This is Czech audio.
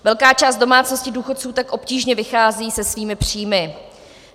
Velká část domácností důchodců tak obtížně vychází se svými příjmy.